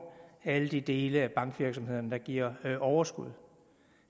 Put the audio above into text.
at videreføre alle de dele af bankvirksomheden der giver overskud